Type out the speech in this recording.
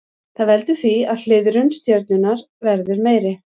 Það veldur því að hliðrun stjörnunnar verður meiri.